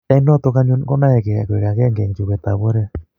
eng' notok anyun ko naegei akoek kibagenge eng' chobet ab oret